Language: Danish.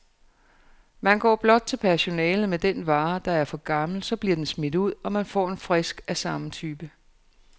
Man går blot til personalet med den vare, der er for gammel, så bliver den smidt ud, og man får en frisk af samme type.